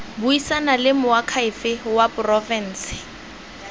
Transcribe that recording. buisana le moakhaefe wa porofense